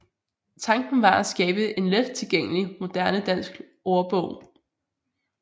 Tanken var at skabe en let tilgængelig moderne dansk ordbog